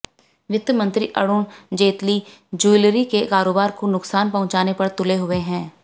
वित्त मंत्री अरुण जेतली ज्यूलरी के कारोबार को नुक्सान पहुंचाने पर तुले हुए हैं